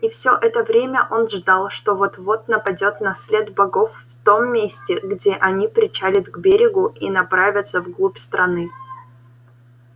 и все это время он ждал что вот вот нападёт на след богов в том месте где они причалят к берегу и направятся в глубь страны